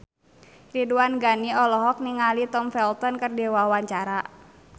Ridwan Ghani olohok ningali Tom Felton keur diwawancara